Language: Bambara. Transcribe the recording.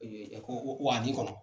A ko kɔnɔ